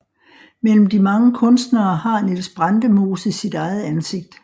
Mellem de mange kunstnere har Niels Brandemose sit eget ansigt